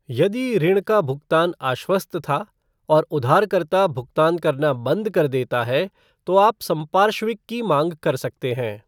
यदि ऋण का भुगतान आश्वस्त था, और उधारकर्ता भुगतान करना बंद कर देता है तो आप संपार्श्विक की मांग कर सकते हैं।